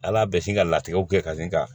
Ala bɛ sin ka latigɛw kɛ ka sin ka